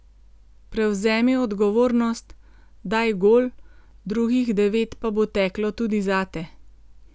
Prevzemi odgovornost, daj gol, drugih devet pa bo teklo tudi zate.